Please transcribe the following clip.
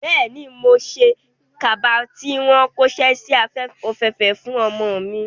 Bẹ́ẹ̀ni, mo ṣe kaba tí wọ́n kóṣẹ́ si òféèfèé fún ọmọ mi.